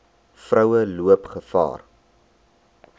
vroue loop gevaar